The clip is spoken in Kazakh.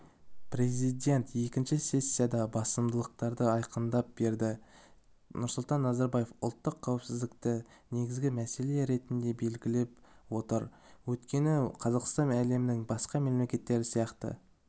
президент екінші сессиядағы басымдықтарды айқындап берді нұрсұлтан назарбаев ұлттық қауіпсіздікті негізгі мәселе ретінде белгілеп отыр өйткені қазақстан әлемнің басқа мемлекеттері сияқты